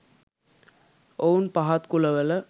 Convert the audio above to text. ඔවුන් පහත් කුලවල